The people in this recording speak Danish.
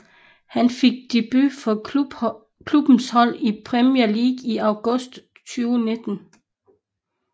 Han fik debut for klubbens hold i Premier League i august 2019